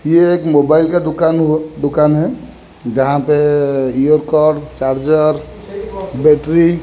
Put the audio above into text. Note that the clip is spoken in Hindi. ये एक मोबाइल का दुकान हो दुकान है जहां पे इयर कॉर्ड चार्जर बैटरी --